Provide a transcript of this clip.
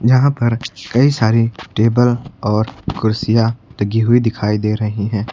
जहां पर कई सारे टेबल और कुर्सियां लगी हुई दिखाई दे रही हैं।